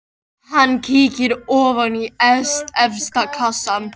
Hann kíkir ofan í efsta kassann.